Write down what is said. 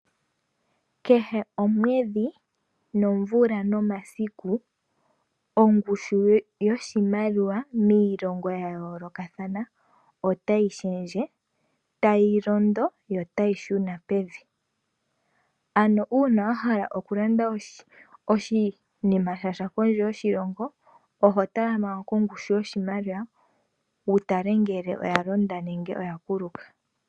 Kehe omwedhi nomvula nomasiku ongushu yoshimaliwa miilongo yayoolokathana otayi shendje tayilondo yo tayi shuna pevi. Ano uuna wahala okulanda oshinima sha sha kondje yoshilongo oho tala manga kongushu yoshialiwa wutale ngele oyalonda nenge oyakuluka.